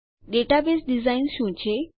database design શું છે